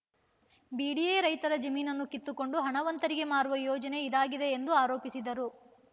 BDA ರೈತರ ಜಮೀನನ್ನು ಕಿತ್ತುಕೊಂಡು ಹಣವಂತರಿಗೆ ಮಾರುವ ಯೋಜನೆ ಇದಾಗಿದೆ ಎಂದು ಆರೋಪಿಸಿದರು